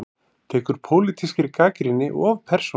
Tekur pólitískri gagnrýni of persónulega